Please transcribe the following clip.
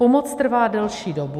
Pomoc trvá delší dobu.